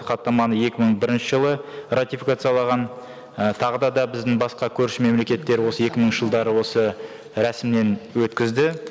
хаттаманы екі мың бірінші жылы ратификациялаған і тағы да да біздің басқа көрші мемлекеттер осы екі мыңыншы жылдары осы рәсімнен өткізді